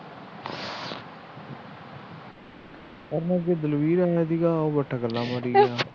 ਉਹ ਦਲਬੀਰ ਆਇਆ ਸੀਗਾ ਬੈਠਾ ਗੱਲਾ ਮਾਰੀ ਗਿਆ